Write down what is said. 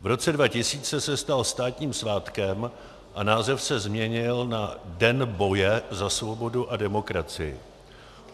V roce 2000 se stal státním svátkem a název se změnil na "Den boje za svobodu a demokracii".